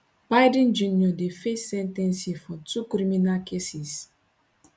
biden jr dey face sen ten cing for two criminal cases